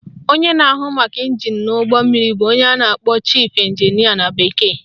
Onye na-ahụ maka ịnjin n'ụgbọ mmiri bụ onye a na-akpọ Chief Engineer na bekee